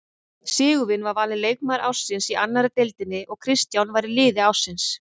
Sigurvin var valinn leikmaður ársins í annarri deildinni og Kristján var í liði ársins.